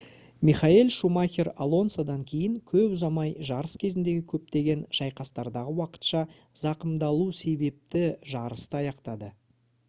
михаэль шумахер алонсодан кейін көп ұзамай жарыс кезіндегі көптеген шайқастардағы уақытша зақымдалу себепті жарысты аяқтады